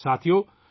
ساتھیو ،